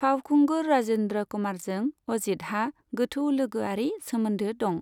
फावखुंगुर राजेन्द्र कुमारजों अजीतहा गोथौ लोगोआरि सोमोन्दो दं।